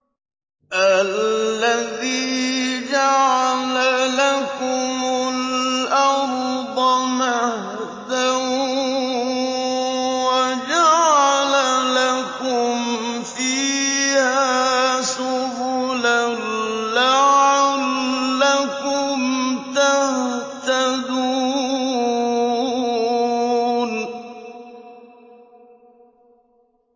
الَّذِي جَعَلَ لَكُمُ الْأَرْضَ مَهْدًا وَجَعَلَ لَكُمْ فِيهَا سُبُلًا لَّعَلَّكُمْ تَهْتَدُونَ